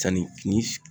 Sanni ni